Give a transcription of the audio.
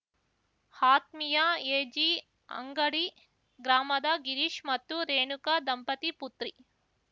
ಆತ್ಮೀಯಾ ಎಜಿ ಅಂಗಡಿ ಗ್ರಾಮದ ಗಿರೀಶ್‌ ಮತ್ತು ರೇಣುಕಾ ದಂಪತಿ ಪುತ್ರಿ